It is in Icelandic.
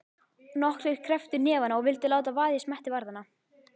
Nokkrir krepptu hnefana og vildu láta vaða í smetti varðanna.